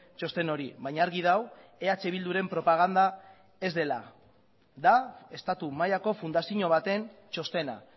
txosten hori baina argi dago eh bilduren propaganda ez dela da estatu mailako fundazio baten txostena